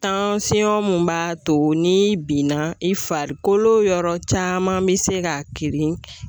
Tansiyɔn min b'a to ni binna i fariko yɔrɔ caman bɛ se ka kirin.